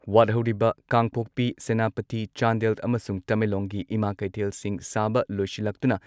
ꯋꯥꯠꯍꯧꯔꯤꯕ ꯀꯥꯡꯄꯣꯛꯄꯤ, ꯁꯦꯅꯥꯄꯇꯤ, ꯆꯥꯟꯗꯦꯜ ꯑꯃꯁꯨꯡ ꯇꯃꯦꯡꯂꯣꯡꯒꯤ ꯏꯃꯥ ꯀꯩꯊꯦꯜꯁꯤꯡ ꯁꯥꯕ ꯂꯣꯢꯁꯤꯜꯂꯛꯇꯨꯅ